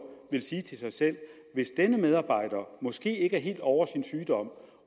vil sige til sig selv at denne medarbejder måske ikke er helt ovre sin sygdom